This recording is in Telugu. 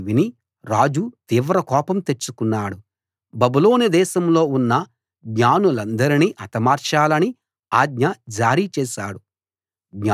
అది విని రాజు తీవ్ర కోపం తెచ్చుకున్నాడు బబులోను దేశంలో ఉన్న జ్ఞానులనందరినీ హతమార్చాలని ఆజ్ఞ జారీ చేశాడు